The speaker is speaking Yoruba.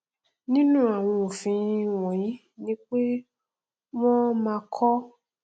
nínú àwọn òfin wọnyí ni pé kí wọn máa kọ